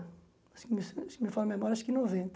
Acho que se não me falto a memória, acho que em noventa.